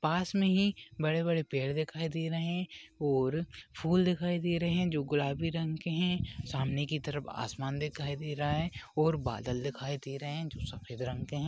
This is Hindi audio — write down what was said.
पास मे ही बड़े बड़े पेड़ दिखाई दे रहे है और फूल दिखाई दे रहे है जो गुलाबी रंग के है सामने की तरफ आसमान दिखाई दे रहा है और बादल दिखाई दे रहे है जो सफेद रंग के है।